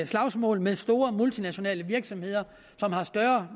slagsmål med store multinationale virksomheder som har større